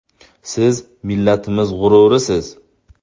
Siz millatimiz g‘ururisiz.